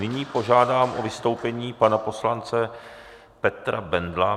Nyní požádám o vystoupení pana poslance Petra Bendla.